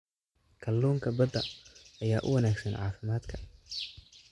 Kalluunka badda ayaa u wanaagsan caafimaadka.